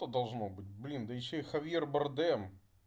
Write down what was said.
то должно быть блин да ещё и хавьер бардем